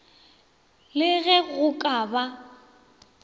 le ge go ka ba